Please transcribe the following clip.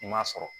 I ma sɔrɔ